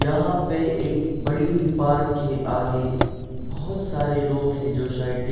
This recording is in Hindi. यहाँ पे एक बड़ी पार्क के आगे बहुत सारे लोग हैं जो सा यटीक--